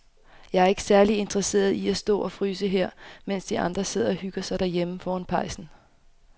Jeg er ikke særlig interesseret i at stå og fryse her, mens de andre sidder og hygger sig derhjemme foran pejsen.